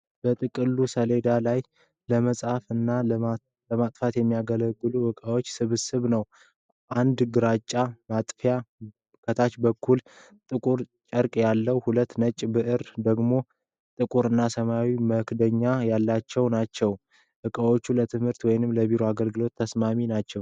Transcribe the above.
በጥቅሉ ሰሌዳ ላይ ለመጻፍ እና ለማጥፋት የሚያገለግሉ ዕቃዎች ስብስብ ነው። አንድ ግራጫ ማጥፊያ ከታች ጥቁር ጨርቅ አለው። ሁለት ነጭ ብዕሮች ደግሞ ጥቁር እና ሰማያዊ መክደኛ ያላቸው ናቸው። ዕቃዎቹ ለትምህርት ወይም ለቢሮ አገልግሎት ተስማሚ ናቸው።